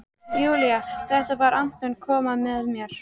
Júlía: Þetta var- Anton kom með mér.